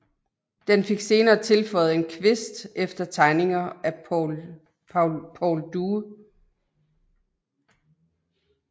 Den fik senere tilføjet en kvist efter tegninger af Paul Due